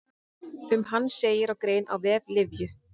Um hann segir í grein á vef Lyfju.